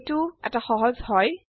এইটো খুবে সহজ160